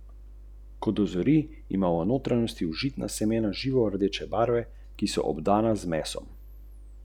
Več utrinkov pa v spodnji galeriji.